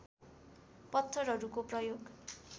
पत्थरहरूको प्रयोग